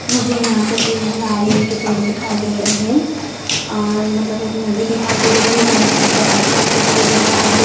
मुझे यहां पे पेड़ नारियल के पेड़ दिखाई दे रहें हैं आ मतलब एक नदी दिखाई दे रही है नदी के ऊपर आसमान दिखाई दे रहा है।